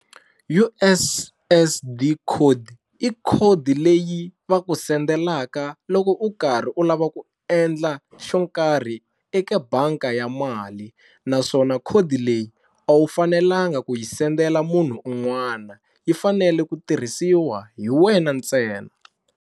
U_S_S_D code i code leyi va ku sendelaka loko u karhi u lava ku endla xo karhi eka banka ya mali naswona code leyi a wu fanelanga ku yi sendela munhu un'wana yi fanele ku tirhisiwa hi wena ntsena.